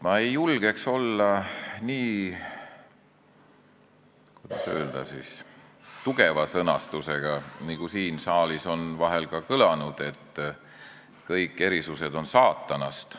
Ma ei julgeks olla nii, kuidas öelda, tugeva sõnastusega, nagu siin saalis vahel on ka kõlanud, et kõik erisused on saatanast.